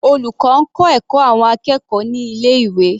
Olùkọ́ ń kọ́ ẹ̀kọ́ àwọn akẹ́kọ̀ọ́ ní ilé ìwé.